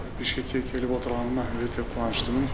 бішкекке келіп отырғаныма өте қуаныштымын